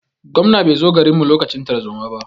Gwamnan bai zo garin mu lokacin tarzoma ba.